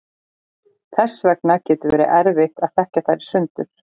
þess vegna getur verið erfitt að þekkja þær í sundur